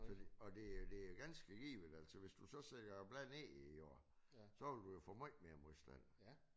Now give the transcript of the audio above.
Og det og det jo ganske givet altså hvis du så sætter bladet ned i jorden så vil du jo få meget mere modstand